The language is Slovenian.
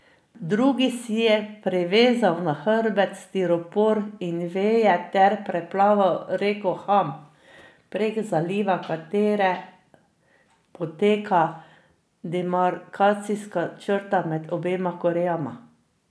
Drugi si je privezal na hrbet stiropor in veje ter preplaval reko Han, prek izliva katere poteka demarkacijska črta med obema Korejama.